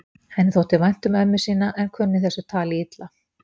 Henni þótti vænt um ömmu sína en kunni þessu tali illa.